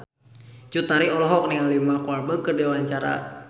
Cut Tari olohok ningali Mark Walberg keur diwawancara